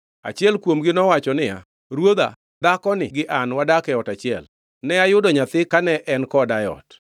Achiel kuomgi nowacho niya, “Ruodha, dhakoni gi an wadak e ot chiel. Ne ayudo nyathi kane en koda e ot.